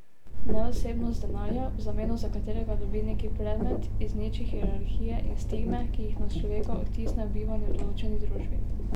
Neosebnost denarja, v zameno za katerega dobi neki predmet, izniči hierarhije in stigme, ki jih na človeka odtisne bivanje v določeni družbi.